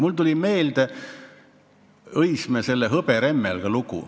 Mulle tuli meelde Õismäe hõberemmelga lugu.